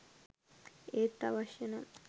ඒත් අවශ්‍යනම්